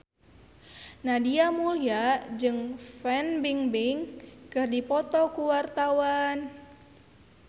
Nadia Mulya jeung Fan Bingbing keur dipoto ku wartawan